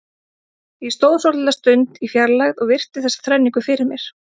Ég stóð svolitla stund í fjarlægð og virti þessa þrenningu fyrir mér.